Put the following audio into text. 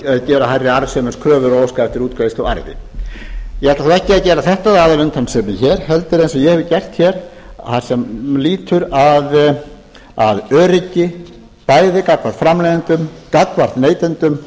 gera hærri arðsemiskröfur og óska eftir útgreiðslu á arði ég ætla þó ekki að gera þetta að aðalumtalsefni hér heldur eins og ég hef gert hér það sem lýtur að öryggi bæði gagnvart framleiðendum gagnvart neytendum